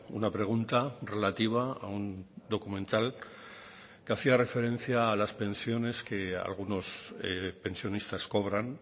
una pregunta relativa a un documental que hacía referencia a las pensiones que algunos pensionistas cobran